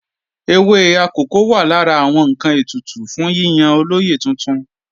Ewé akòko wà lára àwọn ǹkan ètùtù fún yíyan olóyè tuntun